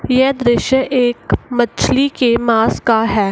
यह दृश्य एक मछली के मास का है |